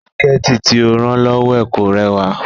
Síkẹ̀tí tí ó rán lọ́wọ́ ẹ̀ kò rẹwà